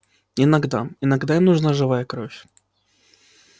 иногда иногда им нужна живая кровь